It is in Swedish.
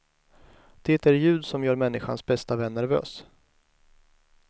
Det är ljud som gör människans bästa vän nervös.